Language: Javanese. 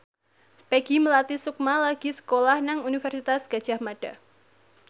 Peggy Melati Sukma lagi sekolah nang Universitas Gadjah Mada